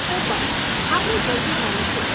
હું પણ, આપણે જલ્દી મળીશું.